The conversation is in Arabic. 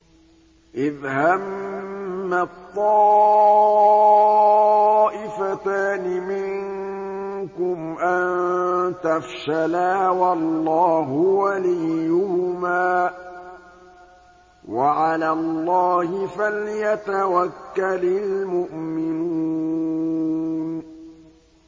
إِذْ هَمَّت طَّائِفَتَانِ مِنكُمْ أَن تَفْشَلَا وَاللَّهُ وَلِيُّهُمَا ۗ وَعَلَى اللَّهِ فَلْيَتَوَكَّلِ الْمُؤْمِنُونَ